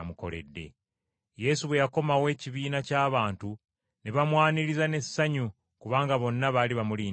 Yesu bwe yakomawo ekibiina ky’abantu ne bamwaniriza n’essanyu kubanga bonna baali bamulindirira.